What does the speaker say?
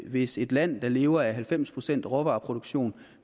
hvis et land der lever af halvfems procent råvareproduktion